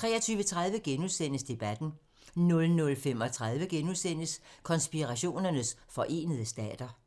23:30: Debatten * 00:35: Konspirationernes forenede stater *